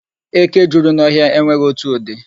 Eke juru n'ọhịa enweghi otu ụdị.